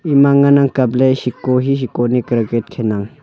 ema ngan kap ley seko hi aa seko ne cricket kheley aa.